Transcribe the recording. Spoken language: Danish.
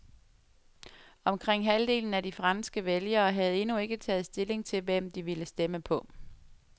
Omkring halvdelen af de franske vælgere havde endnu ikke taget stilling til, hvem de ville stemme på.